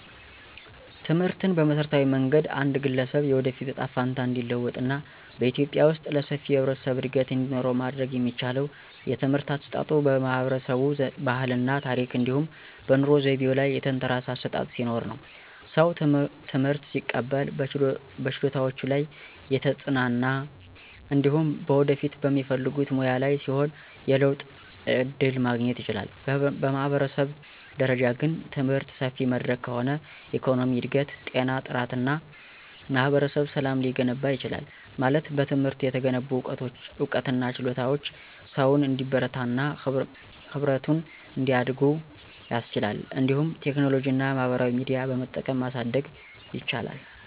ትምህርትን በመሠረታዊ መንገድ አንድ ግለሰብ የወደፊት እጣ ፈንታ እንዲለወጥ እና በኢትዮጵያ ውስጥ ለሰፊው የህብረተሰብ እድገት እንዲኖረው ማድረግ የሚቻለው የትምህርት አሰጣጡ በህብረተሰቡ ባህል እና ታረክ እንዲሁም በኑሮ ዘይቤው ላይ የተንተራሰ አሠጣጥ ሲኖርነው። ሰው ትምህርት ሲቀበል በችሎታዎቹ ላይ የተጽናና እንዲሁም በወደፊት በሚፈልጉት ሙያ ላይ ሲሆን የለውጥ ዕድል ማግኘት ይችላል። በህብረተሰብ ደረጃ ግን፣ ትምህርት ሰፊ መድረክ ከሆነ የኢኮኖሚ እድገት፣ ጤና ጥራት እና ማህበረሰብ ሰላም ሊገነባ ይችላል። ማለት በትምህርት የተገነቡ ዕውቀትና ችሎታዎች ሰውን እንዲበረታና ህብረቱን እንዲያድጉ ያስችላሉ። እንዲሁም ቴክኖሎጂና ማህበራዊ ሚዲያ በመጠቀም ማሳደግ ይቻላል።